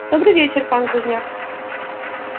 добрый вечер пан глузняк